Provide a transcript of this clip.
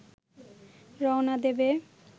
রওনা দেবে